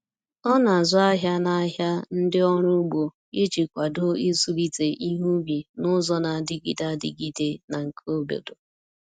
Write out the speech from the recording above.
O na-azụ ahịa n’ahịa ndị ọrụ ugbo iji kwado ịzụlite ihe ubi n’ụzọ na-adịgide adịgide na nke obodo.